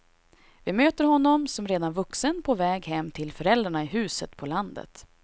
Vi möter honom som redan vuxen på väg hem till föräldrarna i huset på landet.